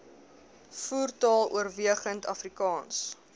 voertaal oorwegend afrikaans